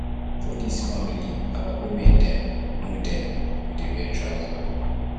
for dis family our women dem no dem no dey wear trouser